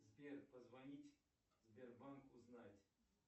сбер позвонить сбербанк узнать